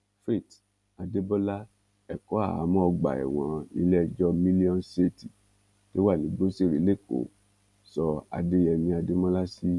faith adébọlá ẹ̀kọ́ àhámọ́ ọgbà ẹ̀wọ̀n nílé ẹjọ́ million tó wà nígbóṣeré lékòó sọ adéyẹmí adémọlá sí